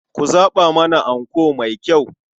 Ku zaɓa mana anko mai kyau.